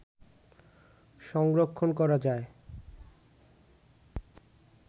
সংরক্ষণ করা যায়